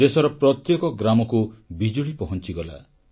ଦେଶର ପ୍ରତ୍ୟେକ ଗ୍ରାମକୁ ବିଜୁଳି ପହଂଚିଗଲା